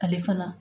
Ale fana